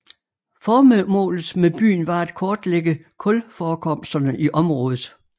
Formålet med byen var at kortlægge kulforekomsterne i området